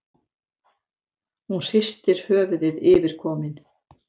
Hún hristir höfuðið yfirkomin.